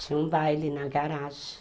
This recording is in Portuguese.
Tinha um baile na garagem.